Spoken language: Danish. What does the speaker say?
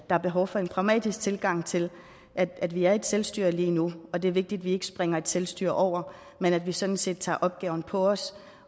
er behov for en pragmatisk tilgang til at vi er et selvstyre lige nu og det er vigtigt at vi ikke springer selvstyret over men at vi sådan set tager opgaven på os